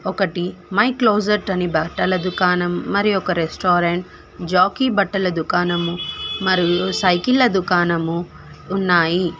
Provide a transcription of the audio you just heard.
ఒకటి my closet అని బట్టలు దుకాణం మరియు రెస్టారెంట్ జాకి బట్టల దుకాణము మరియు సైకిల్ల దుకాణము ఉన్నాయి.